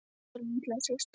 Elsku litla systir mín.